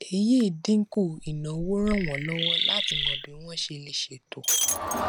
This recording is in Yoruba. èyí dínkù ìnáwó ràn wọn lọwọ láti mọ bí wọn ṣe lè ṣètò